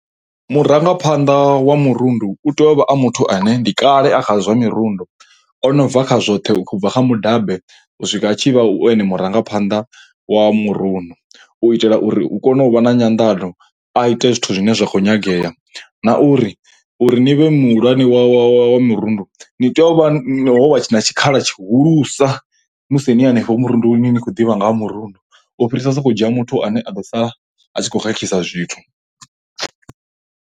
Murangaphanḓa wa murundu u tea u vha a muthu ane ndi kale a khazwo zwa mirundu. O no bva kha zwoṱhe u bva kha mudabe u swika tshi vha u ene murangaphanḓa wa murundu u itela uri hu kone u vha na nyanḓano a ite zwithu zwine zwa khou nyagea, na uri uri ni vhe muhulwane wa wa wa wa murundu ni tea u vha ho wa na tshikhala tshihulusa musi ni hanefho murundu ni khou ḓivha nga ha murundu u fhirisa u sokou dzhia muthu ane a ḓo sala tshi khou khakhisa zwithu.